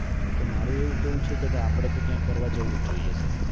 તો મારુ એવું કેવું તો એવું છે કે આપણે તો ત્યાં ફરવા જવું જ જોઈએ સે